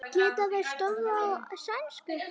Geta þeir stöðvað þá sænsku?